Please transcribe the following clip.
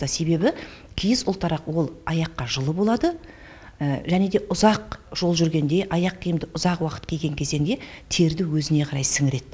себебі киіз ұлтарақ ол аяққа жылы болады және де ұзақ жол жүргенде аяқ киімді ұзақ уақыт киген кезеңде терді өзіне қарай сіңіреді